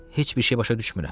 Heç bir şey başa düşmürəm.